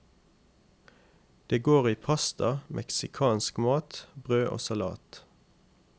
Det går i pasta, mexicansk mat, brød og salat.